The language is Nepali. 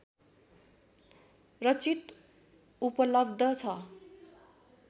रचित उपलब्ध छ